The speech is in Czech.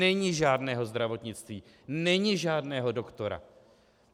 Není žádného zdravotnictví, není žádného doktora.